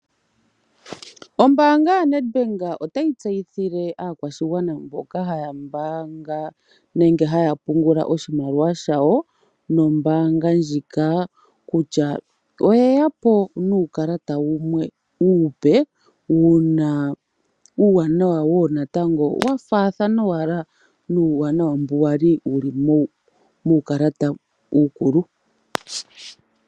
Ombanga yaNedbank otayi tseyithile aakwashigwana mboka haya mbanga nenge haya pungula oshimaliwa shawo nombanga ndjika, kutya oye yapo nuukalata uupe wuna uwanawa wo natango wafathana owala nuuwanawa mbu wali muukalata uukulu.